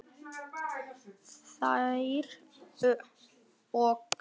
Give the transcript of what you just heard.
Þær oxa